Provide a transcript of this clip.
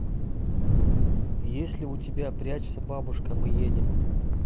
есть ли у тебя прячься бабушка мы едем